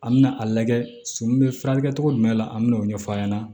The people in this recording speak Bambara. An mɛna a lajɛ so min bɛ furakɛli kɛ cogo jumɛn la an bɛ n'o ɲɛf'a ɲɛna